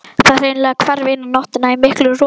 Það hreinlega hvarf eina nóttina í miklu roki.